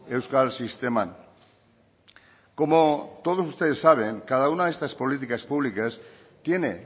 euskal sisteman como todos ustedes saben cada una de estas políticas públicas tiene